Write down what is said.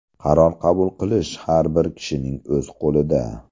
Qaror qabul qilish har bir kishining o‘z qo‘lida.